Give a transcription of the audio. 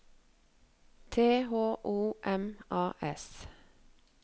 T H O M A S